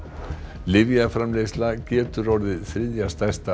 lyfjaframleiðsla getur orðið þriðja stærsta